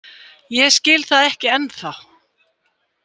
Ég skil það ekki ennþá.